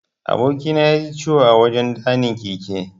Aboki na yaji ciwo a wajan ɗanin keke.